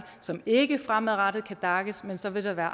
som ikke fremadrettet kan daces men så vil der være